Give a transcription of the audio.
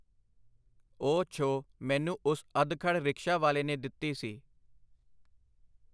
ਉਹ ਛੋਹ ਮੈਨੂੰ ਉਸ ਅਧਖੜ ਰਿਕਸ਼ਾ ਵਾਲੇ ਨੇ ਦਿੱਤੀ ਸੀ.